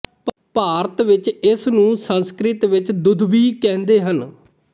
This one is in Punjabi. ਭਾਰਤ ਵਿੱਚ ਇਸਨੂੰ ਸੰਸਕ੍ਰਿਤ ਵਿੱਚ ਦੁੰਦੁਭਿ ਕਹਿੰਦੇ ਹਨ